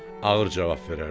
ağır cavab verərdi.